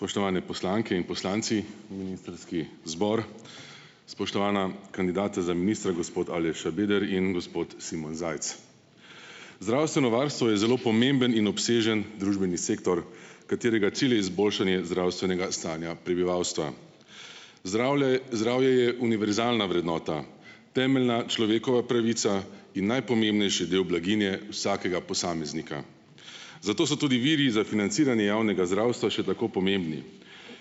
Spoštovane poslanke in poslanci, ministrski zbor, spoštovana kandidata za ministra, gospod Aleš Šabeder in gospod Simon Zajc! Zdravstveno varstvo je zelo pomemben in obsežen družbeni sektor, katerega cilj je izboljšanje zdravstvenega stanja prebivalstva. Zdravje, zdravje je univerzalna vrednota, temeljna človekova pravica in najpomembnejši del blaginje vsakega posameznika. Zato so tudi viri za financiranje javnega zdravstva še tako pomembni,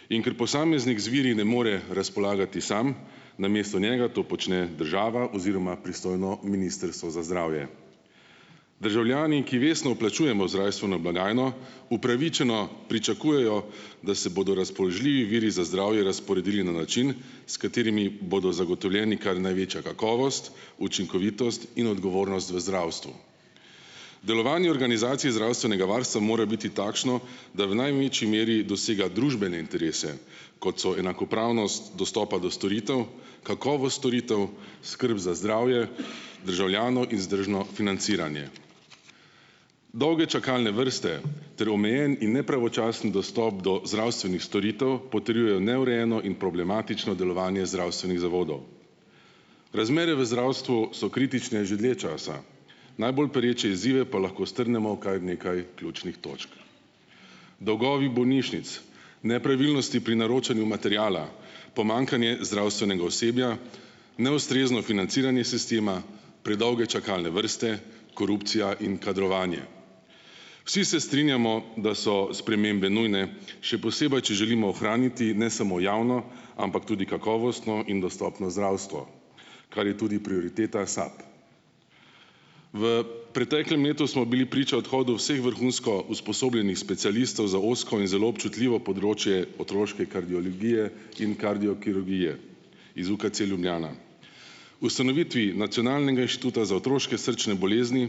in ker posameznik z viri ne more razpolagati sam, namesto njega to počne država oziroma pristojno ministrstvo za zdravje. Državljani, ki vestno vplačujemo zdravstveno blagajno, upravičeno pričakujejo, da se bodo razpoložljivi viri za zdravje razporedili na način, s katerimi bodo zagotovljeni kar največja kakovost, učinkovitost in odgovornost v zdravstvu. Delovanje organizacije zdravstvenega varstva mora biti takšno, da v največji meri dosega družbene interese, kot so enakopravnost dostopa do storitev, kakovost storitev, skrb za zdravje državljanov in vzdržno financiranje. Dolge čakalne vrste ter omejen in nepravočasen dostop do zdravstvenih storitev, potrjujejo neurejeno in problematično delovanje zdravstvenih zavodov. Razmere v zdravstvu so kritične že dlje časa. Najbolj pereče izzive pa lahko strnemo v kaj nekaj ključnih točk: dolgovi bolnišnic, nepravilnosti pri naročanju materiala, pomanjkanje zdravstvenega osebja, neustrezno financiranje sistema, predolge čakalne vrste, korupcija in kadrovanje. Vsi se strinjamo, da so spremembe nujne, še posebej, če želimo ohraniti ne samo javno, ampak tudi kakovostno in dostopno zdravstvo, kar je tudi prioriteta SAB. V preteklem letu smo bili priča odhodu vseh vrhunsko usposobljenih specialistov za ozko in zelo občutljivo področje otroške kardiologije in kardiokirurgije iz UKC Ljubljana. Ustanovitvi Nacionalnega inštituta za otroške srčne bolezni,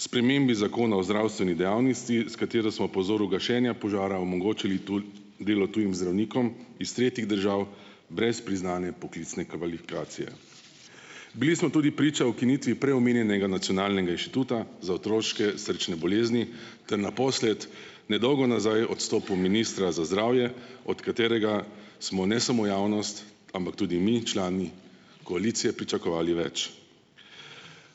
spremembi zakona o zdravstveni dejavnosti, s katero smo po vzoru gašenja požara omogočili delo tujim zdravnikom iz tretjih držav, brez priznane poklicne kvalifikacije. Bili smo tudi priča ukinitvi prej omenjenega Nacionalnega inštituta za otroške srčne bolezni ter naposled, nedolgo nazaj odstopu ministra za zdravje, od katerega smo ne samo javnost, ampak tudi mi člani koalicije pričakovali več.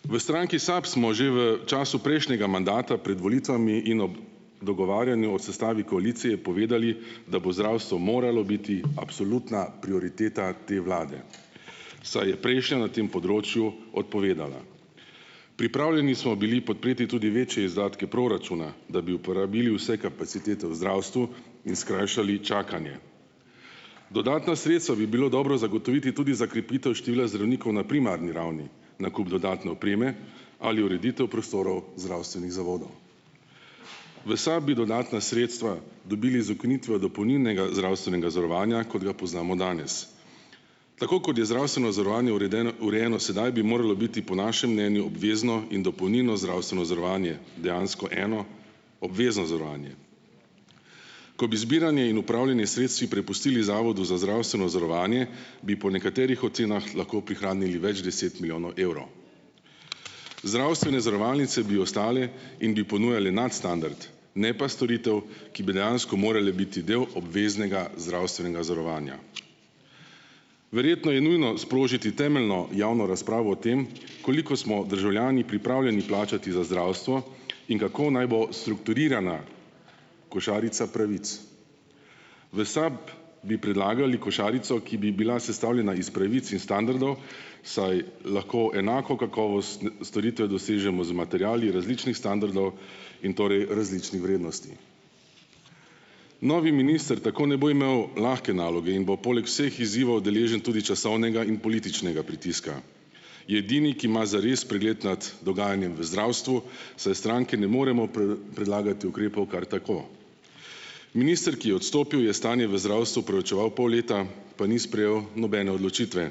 V stranki SAB smo že v času prejšnjega mandata pred volitvami in ob dogovarjanju o sestavi koalicije povedali, da bo zdravstvo moralo biti absolutna prioriteta te vlade, saj je prejšnja na tem področju odpovedala. Pripravljeni smo bili podpreti tudi večje izdatke proračuna, da bi uporabili vse kapacitete v zdravstvu in skrajšali čakanje. Dodatna sredstva bi bilo dobro zagotoviti tudi za krepitev števila zdravnikov na primarni ravni, nakup dodatne opreme ali ureditev prostorov zdravstvenih zavodov. V SAB bi dodatna sredstva dobili z ukinitvijo dopolnilnega zdravstvenega zavarovanja, kot ga poznamo danes. Tako kot je zdravstveno zavarovanje urejeno sedaj, bi moralo biti po našem mnenju obvezno in dopolnilno zdravstveno zavarovanje dejansko eno obvezno zavarovanje. Ko bi zbiranje in upravljanje s sredstvi prepustili Zavodu za zdravstveno zavarovanje, bi po nekaterih ocenah lahko prihranili več deset milijonov evrov. Zdravstvene zavarovalnice bi ostale in bi ponujale nadstandard, ne pa storitev, ki bi dejansko morala biti del obveznega zdravstvenega zavarovanja. Verjetno je nujno sprožiti temeljno javno razpravo o tem, koliko smo državljani pripravljeni plačati za zdravstvo in kako naj bo strukturirana košarica pravic. V SAB bi predlagali košarico, ki bi bila sestavljena iz pravic in standardov, saj lahko enako kakovost storitve dosežemo z materiali različnih standardov in torej različnih vrednosti. Novi minister tako ne bo imel lahke naloge in bo poleg vseh izzivov deležen tudi časovnega in političnega pritiska. Je edini, ki ima zares pregled nad dogajanjem v zdravstvu, saj stranke ne moremo predlagati ukrepov kar tako. Minister, ki je odstopil, je stanje v zdravstvu preučeval pol leta, pa ni sprejel nobene odločitve,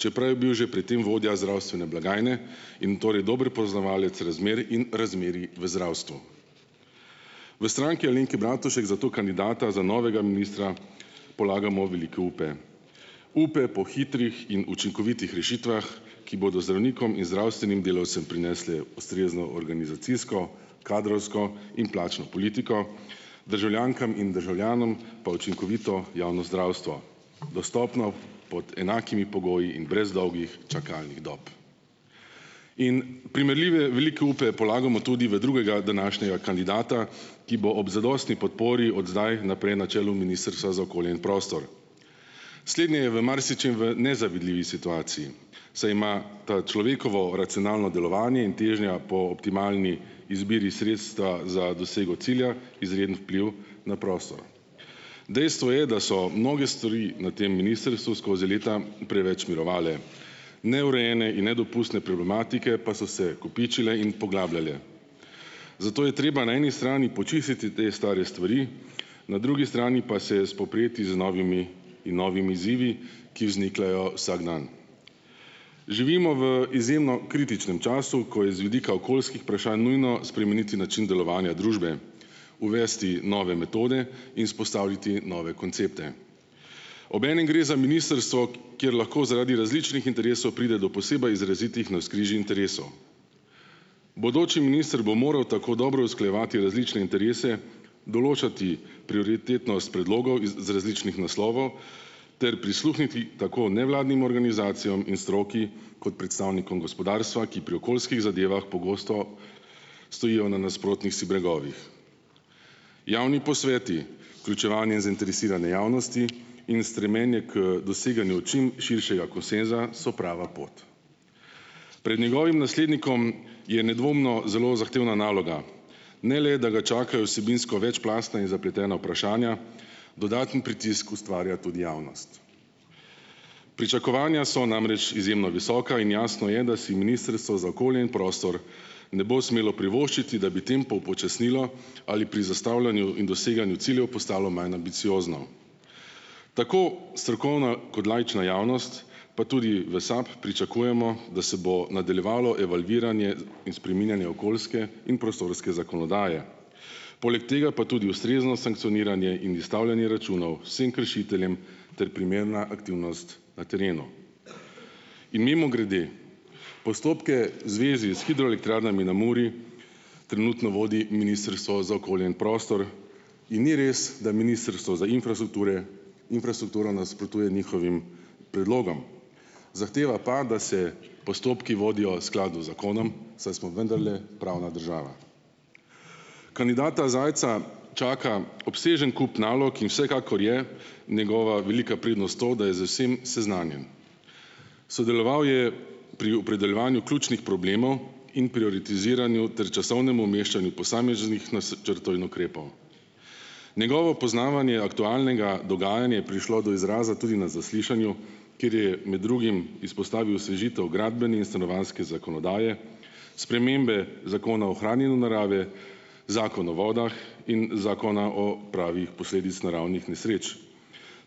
čeprav je bil že pred tem vodja zdravstvene blagajne in torej dober poznavalec razmer in razmerij v zdravstvu. V Stranki Alenke Bratušek zato kandidata za novega ministra polagamo velike upe. Upe po hitrih in učinkovitih rešitvah, ki bodo zdravnikom in zdravstvenim delavcem prinesle ustrezno organizacijsko, kadrovsko in plačno politiko, državljankam in državljanom pa učinkovito javno zdravstvo, dostopno pod enakimi pogoji in brez dolgih čakalnih dob. In primerljive velike upe polagamo tudi v drugega današnjega kandidata, ki bo ob zadostni podpori od zdaj naprej na čelu Ministrstva za okolje in prostor. Slednji je v marsičem v nezavidljivi situaciji, saj ima to človekovo racionalno delovanje in težnja po optimalni izbiri sredstva za dosego cilja izreden vpliv na prostor. Dejstvo je, da so mnoge stvari na tem ministrstvu skozi leta preveč mirovale. Neurejene in nedopustne problematike pa so se kopičile in poglabljale. Zato je treba na eni strani počistiti te stare stvari, na drugi strani pa se spoprijeti z novimi in novimi izzivi, ki vznikajo vsak dan. Živimo v izjemno kritičnem času, ko je z vidika okoljskih vprašanj nujno spremeniti način delovanja družbe, uvesti nove metode in izpostaviti nove koncepte. Obenem gre za ministrstvo, kjer lahko zaradi različnih interesov pride do posebej izrazitih navzkrižij interesov. Bodoči minister bo moral tako dobro usklajevati različne interese, določati prioritetnost predlogov iz, z različnih naslovov ter prisluhniti tako nevladnim organizacijam in stroki kot predstavnikom gospodarstva, ki pri okoljskih zadevah pogosto stojijo na nasprotnih si bregovih. Javni posveti, vključevanje zainteresirane javnosti in stremlenje k doseganju čim širšega konsenza so prava pot. Pred njegovim naslednikom je nedvomno zelo zahtevna naloga. Ne le da ga čakajo vsebinsko večplastna in zapletena vprašanja, dodaten pritisk ustvarja tudi javnost. Pričakovanja so namreč izjemno visoka in jasno je, da si ministrstvo za okolje in prostor ne bo smelo privoščiti, da bi tempo upočasnilo ali pri zastavljanju in doseganju ciljev postalo manj ambiciozno. Tako strokovna kot laična javnost, pa tudi v SAB, pričakujemo, da se bo nadaljevalo evalviranje in spreminjanje okoljske in prostorske zakonodaje. Poleg tega pa tudi ustrezno sankconiranje in izstavljanje računov vsem kršiteljem ter primerna aktivnost na terenu. In mimogrede, postopke v zvezi s hidroelektrarnami na Muri trenutno vodi ministrstvo za okolje in prostor in ni res, da ministrstvo za infrastrukture infrastrukturo nasprotuje njihovim predlogom, zahteva pa, da se postopki vodijo skladu z zakonom, saj smo vendarle pravna država. Kandidata Zajca čaka obsežen kup nalog in vsekakor je njegova velika prednost to, da je z vsem seznanjen. Sodeloval je pri opredeljevanju ključnih problemov in prioritiziranju ter časovnemu umeščanju posameznih načrtov in ukrepov. Njegovo poznavanje aktualnega dogajanja je prišlo do izraza tudi na zaslišanju, kjer je med drugim izpostavil osvežitev gradbene in stanovanjske zakonodaje, spremembe Zakona ohranjanju narave, Zakon o vodah in Zakona o pravi posledic naravnih nesreč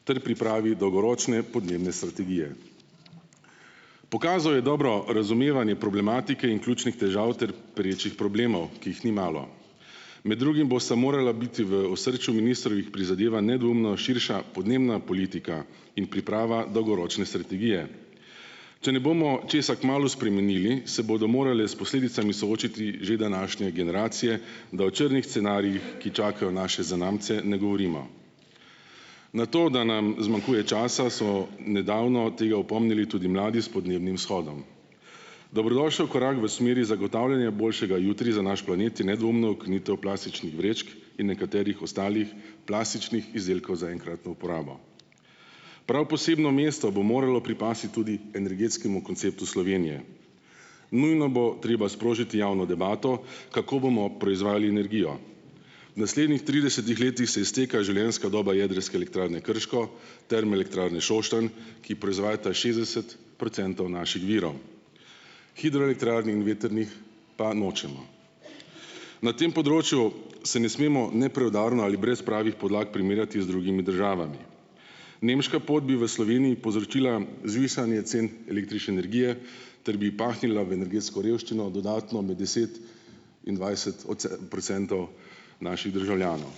ter pripravi dolgoročne podnebne strategije. Pokazal je dobro razumevanje problematike in ključnih težav ter perečih problemov, ki jih ni malo. Med drugim bosta morala biti v osrčju ministrovih prizadevanj nedvoumno širša podnebna politika in priprava dolgoročne strategije. Če ne bomo česa kmalu spremenili, se bodo morale s posledicami soočiti že današnje generacije, da o črnih scenarijih, ki čakajo naše zanamce, ne govorimo. Na to, da nam zmanjkuje časa, so nedavno tega opomnili tudi mladi s podnebnim shodom. Dobrodošel korak v smeri zagotavljanja boljšega jutri za naš planet je nedvoumno ukinitev plastičnih vrečk in nekaterih ostalih plastičnih izdelkov za enkratno uporabo. Prav posebno mesto bo moralo pripasti tudi energetskemu konceptu Slovenije. Nujno bo treba sprožiti javno debato, kako bomo proizvajali energijo. V naslednjih tridesetih letih se izteka življenjska doba Jedrske elektrarne Krško, Termoelektrarne Šoštanj, ki proizvajata šestdeset procentov naših virov, hidroelektrarn in vetrnih pa nočemo. Na tem področju se ne smemo nepreudarno ali brez pravih podlag primerjati z drugimi državami. Nemška pot bi v Sloveniji povzročila zvišanje cen električne energije ter bi pahnila v energetsko revščino dodatno med deset in dvajset procentov naših državljanov.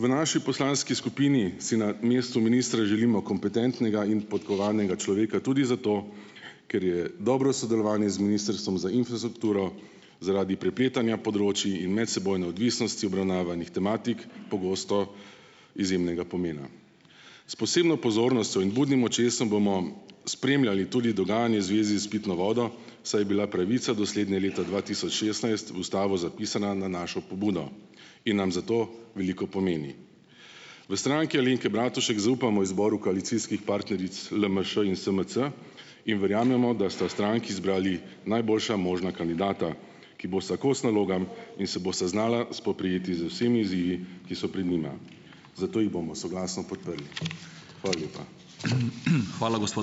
V naši poslanski skupini si na mestu ministra želimo kompetentnega in podkovanega človeka tudi zato, ker je dobro sodelovanje z ministrstvom za infrastrukturo zaradi prepletanja področij in medsebojne odvisnosti obravnavanih tematik pogosto izjemnega pomena. S posebno pozornostjo in budnim očesom bomo spremljali tudi dogajanje zvezi s pitno vodo, saj je bila pravica do slednje leta dva tisoč šestnajst v ustavo zapisana na našo pobudo in nam zato veliko pomeni. V Stranki Alenke Bratušek zaupamo izboru koalicijskih partneric LMŠ in SMC in verjamemo, da sta stranki izbrali najboljša možna kandidata, ki bosta kos nalogam in se bosta znala spoprijeti z vsemi izzivi, ki so pred nima, zato ju bomo soglasno podprli. Hvala lepa.